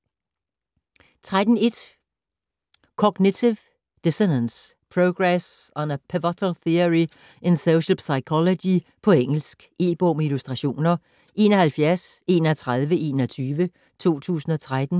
13.1 Cognitive dissonance: progress on a pivotal theory in social psychology På engelsk. E-bog med illustrationer 713121 2013.